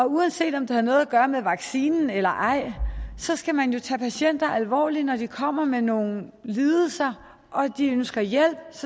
uanset om det har noget at gøre med vaccinen eller ej skal man jo tage patienter alvorligt og når de kommer med nogle lidelser og de ønsker hjælp